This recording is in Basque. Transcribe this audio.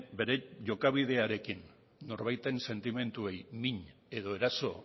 bere jokabidearekin norbaiten sentimenduei min edo eraso